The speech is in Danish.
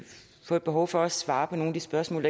få et behov for at svare på nogle spørgsmål